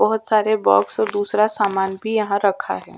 बहोत सारे बॉक्स में दूसरा सामान भी रखा हुआ है।